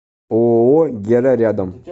ооо гера рядом